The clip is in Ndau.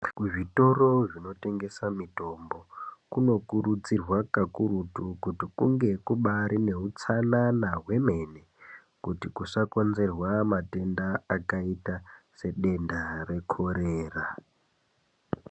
Kuzvitoro zvinotengesa mitombo kunokurudzirwa kakurutu kuti kunge kubaari neutsanana hwemene kuti kusakonzerwa matenda akaita sedenda rekorera.